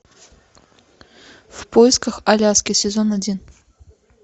в поисках аляски сезон один